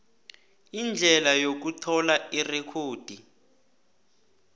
indlela yokuthola irekhodi